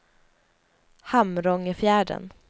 Hamrångefjärden